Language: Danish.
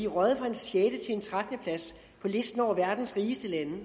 røget fra en sjette en trettende plads på listen over verdens rigeste lande i